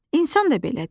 İnsan da belədir.